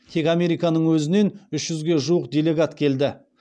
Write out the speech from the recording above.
тек американың өзінен үш жүзге жуық делегат келді